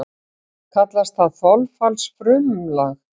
Kallast það þolfallsfrumlag.